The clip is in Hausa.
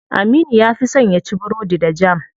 Aminu ya fi son yaci burodi da jam.